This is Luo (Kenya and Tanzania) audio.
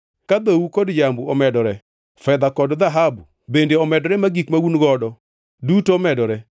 ka dhou kod jambu omedore, fedha kod dhahabu bende omedore ma gik ma un-godo duto omedore